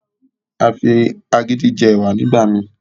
A fí agídí jé ẹwà nígbà mí